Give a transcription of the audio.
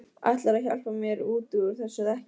Ætlarðu að hjálpa mér út úr þessu eða ekki?